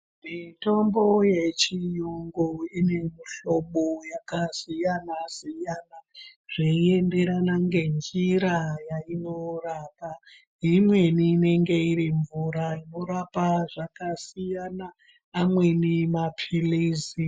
Mitombo yechiyungu ine muhlobo wakasiyana- siyana. veienderana ngenjira yainorapa. Imweni inenge iri mvura unorapa zvakasiyana, amweni mapilizi.